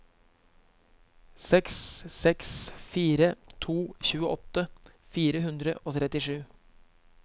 seks seks fire to tjueåtte fire hundre og trettisju